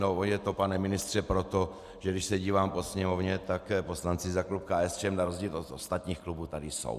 No je to, pane ministře, proto, že když se dívám po Sněmovně, tak poslanci za klub KSČM na rozdíl od ostatních klubů tady jsou.